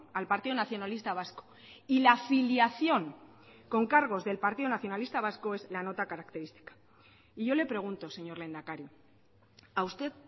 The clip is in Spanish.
al partido nacionalista vasco y la afiliación con cargos del partido nacionalista vasco es la nota característica y yo le pregunto señor lehendakari a usted